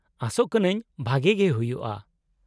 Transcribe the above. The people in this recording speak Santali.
-ᱟᱥᱚᱜ ᱠᱟᱹᱱᱟᱹᱧ ᱵᱷᱟᱜᱮ ᱜᱮ ᱦᱩᱭᱩᱜᱼᱟ ᱾